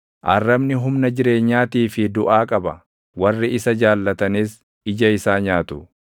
Arrabni humna jireenyaatii fi duʼaa qaba; warri isa jaallatanis ija isaa nyaatu.